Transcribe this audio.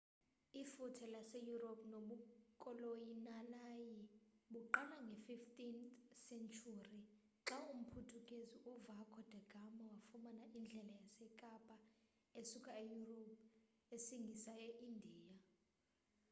ifuthe lase europe nobukoloniyali baqala nge 15th senturi xa umphuthukezi u vaco da gama wafumana indlela yekapa esuka e europe isngisa e india